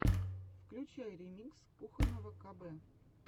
включай ремикс кухонного кб